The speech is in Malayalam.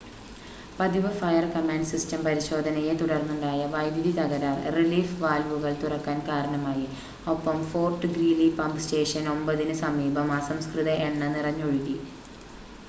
പതിവ് ഫയർ-കമാൻഡ് സിസ്റ്റം പരിശോധനയെത്തുടർന്നുണ്ടായ വൈദ്യുതി തകരാർ റിലീഫ് വാൽവുകൾ തുറക്കാൻ കാരണമായി ഒപ്പം ഫോർട്ട് ഗ്രീലി പമ്പ് സ്റ്റേഷൻ 9-ന് സമീപം അസംസ്കൃത എണ്ണ നിറഞ്ഞൊഴുകി